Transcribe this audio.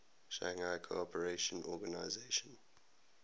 shanghai cooperation organization